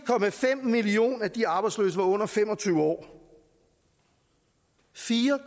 millioner af de arbejdsløse var under fem og tyve år fire